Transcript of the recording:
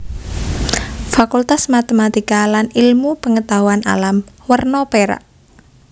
Fakultas Matematika lan Ilmu Pengetahuan Alam werna perak